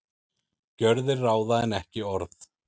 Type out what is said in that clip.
Gjörðir ráða en ekki orð